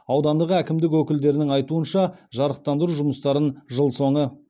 аудандық әкімдік өкілдерінің айтуынша жарықтандыру жұмыстарын жыл соңы